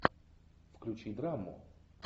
включи драму